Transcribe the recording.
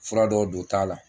Fura dɔw don t'a la.